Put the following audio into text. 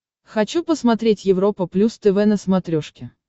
хочу посмотреть европа плюс тв на смотрешке